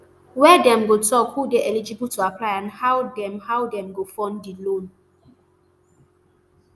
wia dem go tok who dey eligible to apply and how dem how dem go fund di loan